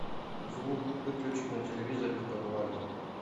звук выключить на телевизоре в подвале